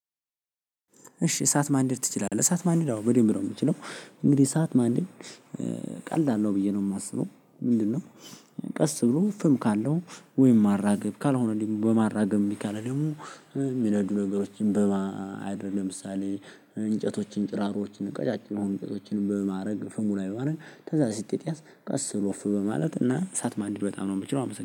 እሺ እሳት ማንደድ ትችላለህ? እሳት ማንደድ አዎ በደንብ ነው ምችለው እንግዲህ እሳት ማንደድ ቀላል ነው ብዬ ነው ማስበው ምንድነው ቀስ ብሎ ፍም ካለው ወይም ማራገብ ካልሆነ ደግሞ በማራገብ እምቢ ካለ ደግሞ የሚነዱ ነገሮችን በማድረግ ለምሳሌ እንጨቶችን ጭራሮችን ቀጫጭን እንጨቶችን በማድረግ ፍሙ ላይ በማድረግ ከዛ ሲጫጫስ ቀስ ብሎ ኡፍ በማለት እና እሳት ማንደድ በጣም ነው ምችለው አመሰግናለሁ።